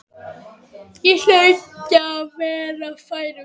Ég hlaut að vera fær um það.